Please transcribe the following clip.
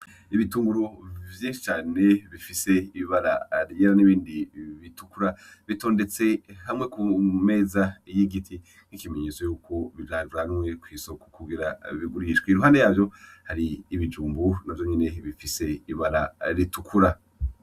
Ibitunguru vyinshi cane bifise ibara ryera nibindi bitukura bitondetse nkamakunku kumeza y'igiti nk'ikimenyetso yuko vyajanwe ku isoko kugira bigurishwe impande yavyo hari ibijumbu navyo nyine bifise ibara ritukura.